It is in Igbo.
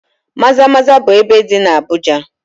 Maza-maza bụ ebe dị na Abuja.